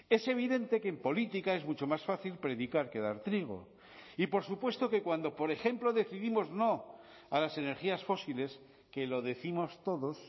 es evidente que en política es mucho más fácil predicar que dar trigo y por supuesto que cuando por ejemplo decidimos no a las energías fósiles que lo décimos todos